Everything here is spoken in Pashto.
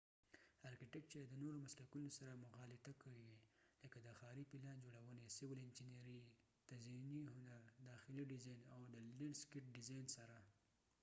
ارکېټیکچر د نورو مسلکونو سره مغالطه کېږی لکه د ښاری پلان جوړونی، سیول انچېنیری، تزیېنی هنر، داخلی ډیزاین، او د لینډ سکېټ ډیزاین سره